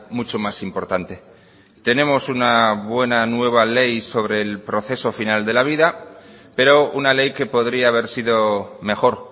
mucho más importante tenemos una buena nueva ley sobre el proceso final de la vida pero una ley que podría haber sido mejor